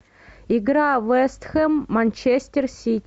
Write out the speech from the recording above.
игра вест хэм манчестер сити